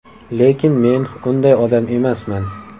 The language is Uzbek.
Lekin men unday odam emasman.